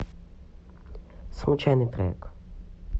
случайный трек